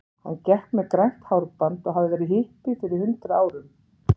Hann gekk með grænt hárband og hafði verið hippi fyrir hundrað árum.